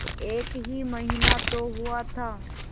एक ही महीना तो हुआ था